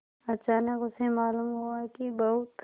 अचानक उसे मालूम हुआ कि बहुत